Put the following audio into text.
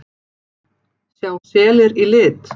Sjá selir í lit?